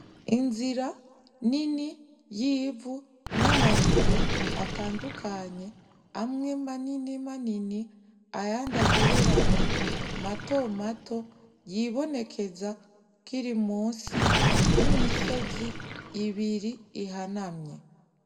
Inzira nini y'ivu n'amabuye atandukanye, amwe manini manini ayandi agereranye matomato, yibonekeza akiri munsi y'imisizi ibiri ihanamye.